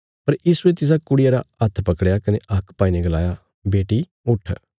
पर यीशुये तिसा कुड़िया रा हत्थ पकड़या कने हाक पाईने गलाया बेटी उट्ठ